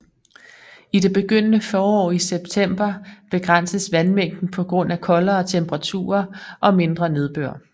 I det begyndende forår i september begrænses vandmængden på grund af koldere temperaturer og mindre nedbør